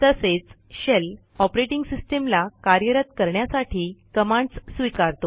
तसेच shell operating सिस्टीमला कार्यरत करण्यासाठी कमांडस् स्वीकारतो